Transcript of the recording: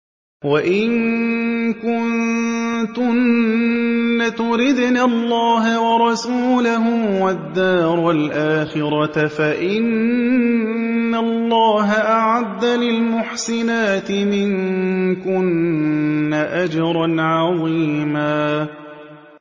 وَإِن كُنتُنَّ تُرِدْنَ اللَّهَ وَرَسُولَهُ وَالدَّارَ الْآخِرَةَ فَإِنَّ اللَّهَ أَعَدَّ لِلْمُحْسِنَاتِ مِنكُنَّ أَجْرًا عَظِيمًا